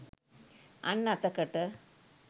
අන් අතකට